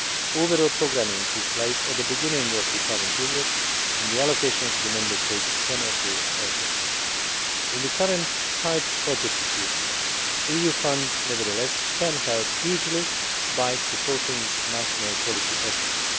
Overall programming took place at the beginning of the current period and the allocations to the Member States cannot be altered. In the current tight budget situation, EU funds can nevertheless help hugely by supporting national policy efforts.